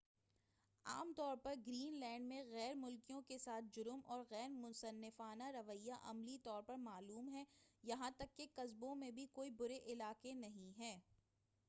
عام طور پر گرین لینڈ میں غیر ملکیوں کے ساتھ، جرم، اور ‏غیر منصفانہ رویہ، عملی طور پر نامعلوم ہے۔ یہاں تک کہ قصبوں میں بھی، کوئی برے علاقے نہیں ہیں۔